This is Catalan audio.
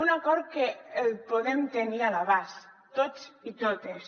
un acord que podem tenir a l’abast tots i totes